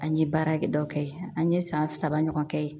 An ye baara kɛ dɔ kɛ yen an ye san saba ɲɔgɔn kɛ ye